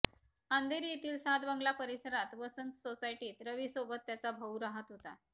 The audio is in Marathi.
अंधेरी येथील सात बंगला परिसरात वसंत सोसायटीत रविसोबत त्याचा भाऊ राहत होता